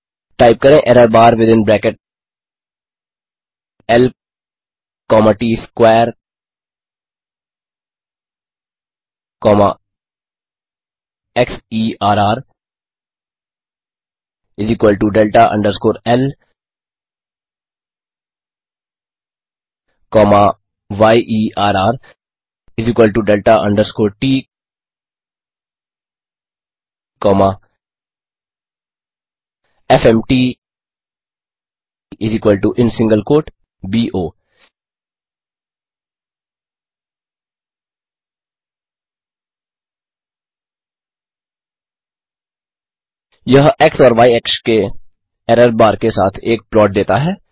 type करें error bar within bracket l comma ts square comma xerrdelta underscore l comma yerrdelta underscore t comma fmt in single quote बो यह x और y अक्ष के error bar के साथ एक प्लॉट देता है